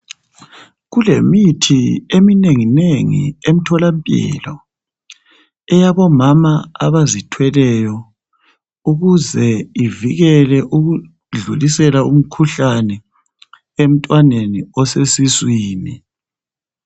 Kulemithi eminenginengi emtholampilo eyabomama abazithweleyo, ukuze ivikele ukudlulisela umkhuhlane emntwaneni osesiswini.